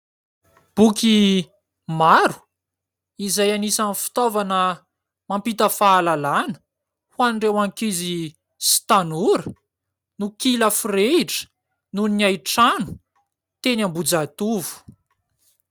boky maro izay anisan'ny fitaovana mampita fahalalana ho an'ireo ankizy sy tanora no kilafireidra noho ny aitrano teny ambojahitovo